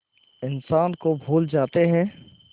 इंसान को भूल जाते हैं